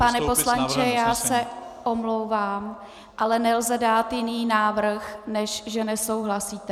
Pane poslanče, já se omlouvám, ale nelze dát jiný návrh, než že nesouhlasíte.